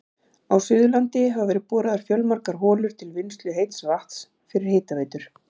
Á Suðurlandi hafa verið boraðar fjölmargar holur til vinnslu heits vatns fyrir hitaveitur.